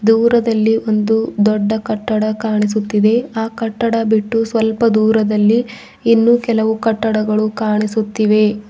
ದೂರದಲ್ಲಿ ಒಂದು ದೊಡ್ಡ ಕಟ್ಟಡ ಕಾಣಿಸುತ್ತಿದೆ ಆ ಕಟ್ಟಡ ಬಿಟ್ಟು ಸ್ವಲ್ಪ ದೂರದಲ್ಲಿ ಇನ್ನೂ ಕೆಲವು ಕಟ್ಟಡಗಳು ಕಾಣಿಸುತ್ತಿವೆ.